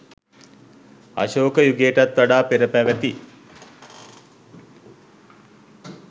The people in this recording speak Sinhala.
අශෝක යුගයටත් වඩා පෙර පැවති